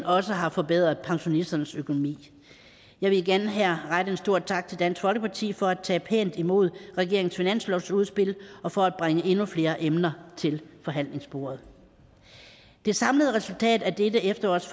også har forbedret pensionisternes økonomi jeg vil igen her rette en stor tak til dansk folkeparti for at tage pænt imod regeringens finanslovsudspil og for at bringe endnu flere emner til forhandlingsbordet det samlede resultat af dette efterårs